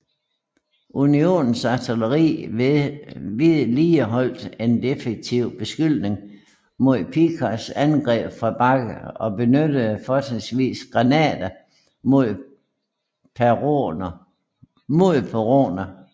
Unionens artilleri vedligeholdt en defensiv beskydning mod Picketts angreb fra bakken og benyttede fortrinsvis granater mod peroner